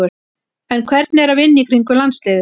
En hvernig er að vinna í kringum landsliðið?